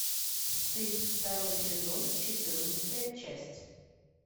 стыд второй сезон четырнадцатая часть